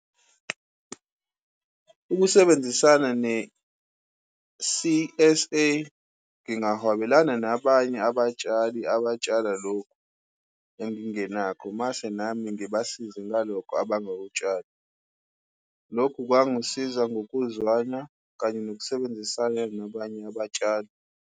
Ukusebenzisana ne-C_S_A, ngingahwabelana nabanye abatshali abatshala lokhu engingenako, mase nami ngibasize ngalokho abangakutshali. Lokhu kwangisiza ngokuzwana kanye nokusebenzisana nabanye abatshali.